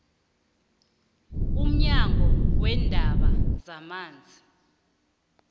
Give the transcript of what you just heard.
umnyango weendaba zamanzi